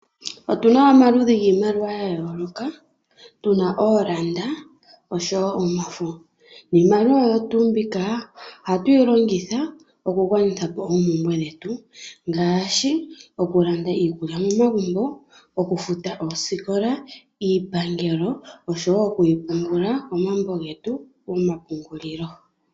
Otu na omaludhi giimaliwa yayooloka, tuna oolanda noshowo omafo. Iimaliwa mbika ohatuyi longitha okugwanithapo oompumbwe dhetu, ngaashi okulanda iikulya megumbo, okufuta oosikola, iipangelo noshowo okwiipungula komambo getu gomapungulilo.